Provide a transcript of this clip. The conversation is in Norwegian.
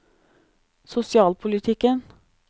sosialpolitikken